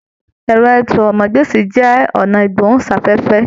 Ẹrọ àsọ̀rọ̀mágbèsi jẹ ọnà igbohunsafẹfẹ.